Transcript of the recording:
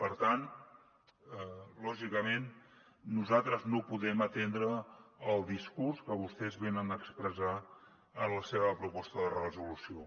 per tant lògicament nosaltres no podem atendre el discurs que vostès venen a expressar en la seva proposta de resolució